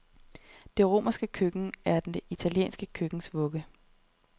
Det romerske køkken, er det italienske køkkens vugge.